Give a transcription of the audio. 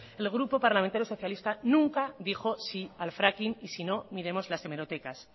el grupo parlamentario socialista nunca dijo sí al fracking y si no miremos las hemerotecas